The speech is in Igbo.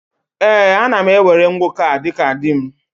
Ee, ana m ewere nwoke a dịka di m.